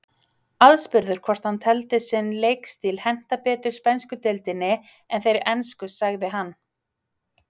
Aðspurður hvort hann teldi sinn leikstíl henta betur spænsku deildinni en þeirri ensku sagði hann.